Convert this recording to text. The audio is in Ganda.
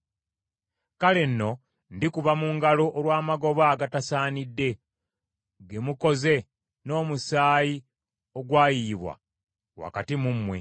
“ ‘Kale nno ndikuba mu ngalo olw’amagoba agatasaanidde ge mukoze n’omusaayi ogwayiyibwa wakati mu mmwe.